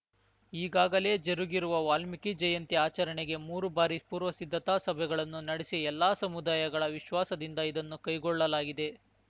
ಈಗಾಗಲೇ ಜರುಗಿರುವ ವಾಲ್ಮೀಕಿ ಜಯಂತಿ ಆಚರಣೆಗೆ ಮೂರು ಬಾರಿ ಪೂರ್ವಸಿದ್ಧತಾ ಸಭೆಗಳನ್ನು ನಡೆಸಿ ಎಲ್ಲ ಸಮುದಾಯಗಳ ವಿಶ್ವಾಸದಿಂದ ಇದನ್ನು ಕೈಗೊಳ್ಳಲಾಗಿದೆ